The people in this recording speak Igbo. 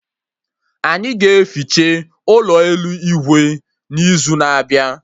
Anyị ga-eficha ụlọ elu Igwe n'izu na-abịa